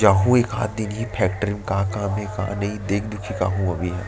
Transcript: जाहु एकाक दिन इ ही फैक्ट्री म काम का हे का नई देख-दुखी के आहव--